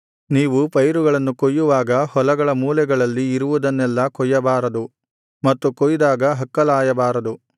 ನೀವು ಪೈರುಗಳನ್ನು ಕೊಯ್ಯುವಾಗ ಹೊಲಗಳ ಮೂಲೆಗಳಲ್ಲಿ ಇರುವುದನ್ನೆಲ್ಲಾ ಕೊಯ್ಯಬಾರದು ಮತ್ತು ಕೊಯ್ದಾಗ ಹಕ್ಕಲಾಯಬಾರದು